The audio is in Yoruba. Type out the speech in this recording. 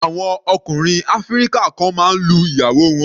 Àwọn ọkùnrin áfíríkà kan máa ń lu ìyàwó wọn.